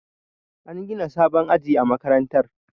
An gina sabon aji a makarantar